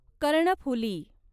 Karnaphuli